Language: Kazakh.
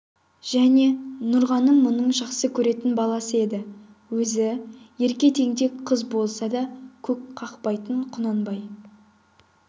және нұрғаным мұның жақсы көретін баласы еді өзі ерке тентек қыз болса да көп қақпайтын құнанбай